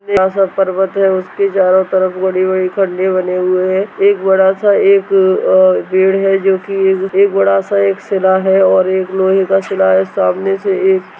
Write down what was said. बड़ा-सा पर्वत है उसके चारों तरफ बड़ी-बड़ी खड्डे बने हुए हैं| एक बड़ा-सा एक बड़ा जो एक पेड़ है जो की एक अ बड़ा-सा एक सिला है और एक लोहे का सिला है सामने से एक--